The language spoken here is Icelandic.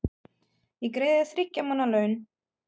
Ég greiði þér þriggja mánaða laun.